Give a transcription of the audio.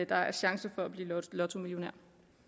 der er chancer for at blive lottomillionær